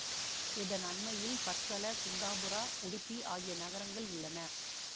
இதன் அண்மையில் பட்கள குந்தாபுரா உடுப்பி ஆகிய நகரங்கள் உள்ளன